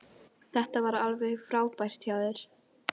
Dónald, hvernig er dagskráin?